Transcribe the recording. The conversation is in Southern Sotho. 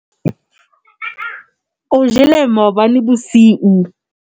o jeleng maobane bosiu?